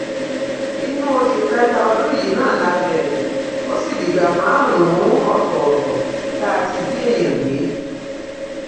inú oṣù kẹta ọdún yìí náà la bẹrẹ ó sì dìgbà márùnún ọtọọtọ tá a ti jí èèyàn gbé